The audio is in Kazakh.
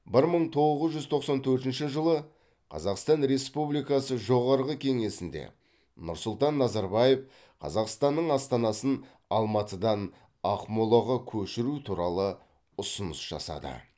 бір мың тоғыз жүз тоқсан төртінші жылы қазақстан республикасы жоғарғы кеңесінде нұрсұлтан назарбаев қазақстанның астанасын алматыдан ақмолаға көшіру туралы ұсыныс жасады